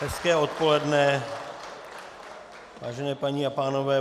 Hezké odpoledne, vážené paní a pánové.